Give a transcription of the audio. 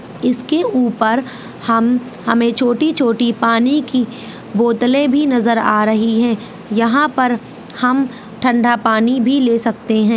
इसके ऊपर हम हमे छोटी-छोटी पानी की बोतले भी नजर आ रही है यहाँ पर हम ठंडा पानी भी ले सकते है।